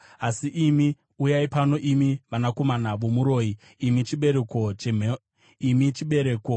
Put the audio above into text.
“Asi imi, uyai pano, imi vanakomana vomuroyi, imi chibereko chemhombwe nezvifeve!